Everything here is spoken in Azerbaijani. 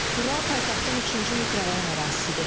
Bura paytaxtın üçüncü mikrorayon ərazisidir.